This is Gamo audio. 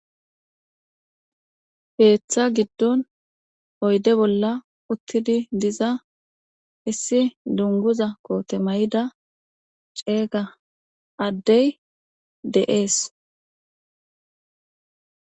Heeththa giddon oyde bolla uttidi diza issi dunguza koote may7ida ceeyga addey de7ees